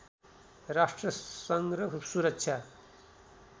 राष्ट्र सङ्घ र सुरक्षा